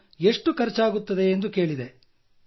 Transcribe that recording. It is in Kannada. ನಾನು ಎಷ್ಟು ಖರ್ಚಾಗುತ್ತದೆ ಎಂದು ಕೇಳಿದೆ